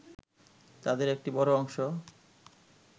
তাদের একটি বড় অংশ